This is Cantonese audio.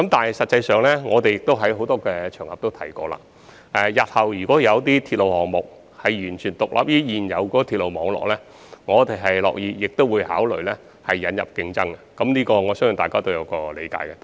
事實上，我們在不同場合也提過，如果日後有些鐵路項目能夠完全獨立於現有的鐵路網絡，我們樂意考慮引入競爭，我相信大家都是理解的。